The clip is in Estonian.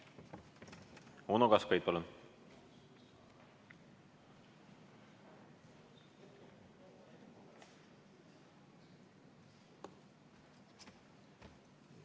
Uno Kaskpeit, palun!